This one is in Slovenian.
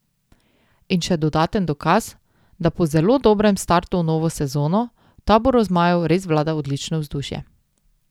In še dodaten dokaz, da po zelo dobrem startu v novo sezono v taboru zmajev res vlada odlično vzdušje.